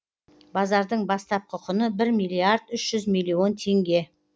базардың бастапқы құны бір миллиард үш жүз миллион теңге